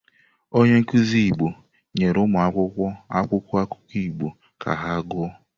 Onye nkuzi Igbo nyere ụmụakwụkwọ akwụkwọ akụkọ Igbo ka ha gụọ.